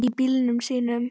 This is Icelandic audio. Í bílunum sínum.